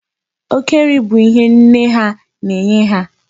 Oke nri bụ ihe nne ha na-enye ha.